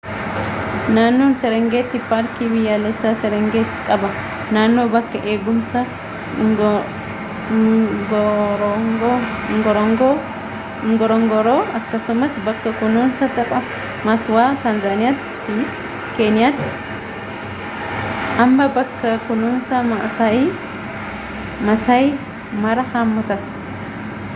naannoon serengetii paarkii biyyaalessaa serengeti qaba naannoo bakka eegumsaa ngorongoro akkasumas bakka kunuunsa taphaa maswa taanzaniyaatii fi keeniyatti ammo bakka kunuunsaa maasai mara hammata